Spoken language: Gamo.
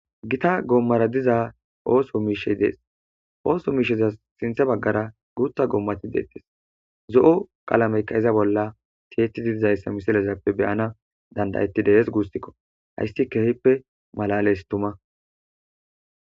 Gita goommara diza ooso miishey dees ooso miisheza sinthe baggara guutha goommati deettes zo'o qaalameykka iza bolla tiyettididizayssa misilezappe beyana dandayettidees guustikko hayssi kehippe malales tuma.